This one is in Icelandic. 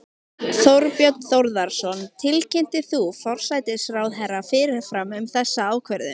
Þorbjörn Þórðarson: Tilkynntir þú forsætisráðherra fyrirfram um þessa ákvörðun?